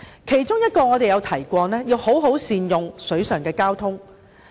其中我們曾提到要好好善用水上交通。